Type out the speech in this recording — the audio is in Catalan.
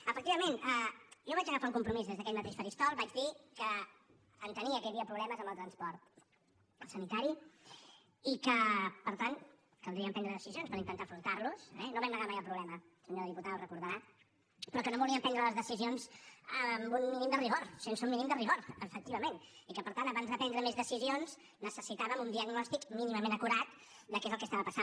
efectivament jo vaig agafar un compromís des d’aquest mateix faristol vaig dir que entenia que hi havia problemes amb els transport sanitari i que per tant caldria prendre decisions per intentar afrontar los eh no vam negar mai el problema senyora diputada ho deu recordar però que no volíem prendre les decisions sense un mínim de rigor efectivament i que per tant abans de prendre més decisions necessitàvem un diagnòstic mínimament acurat de què és el que estava passant